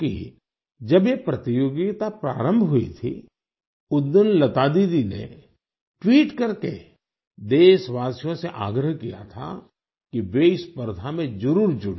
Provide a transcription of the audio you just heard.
क्योंकि जब ये प्रतियोगिता प्रारंभ हुई थी उस दिन लता दीदी ने ट्वीट करके देशवासियों से आग्रह किया था कि वे इस प्रथा में जरुर जुड़ें